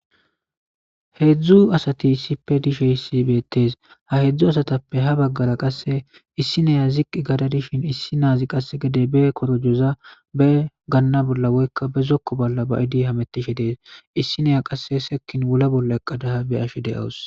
Heedzdzu asati issippe dishe issi beettees ha heedzdzu asatappe ha baggara qasse issi neya ziqqi gada dishin issi naazi qasse gede be korojoza be ganna bolla woykka be zokko bolla ba idi hamettishe dees issi neya qasse sekin wula bolla eqadaha be ashi de'awus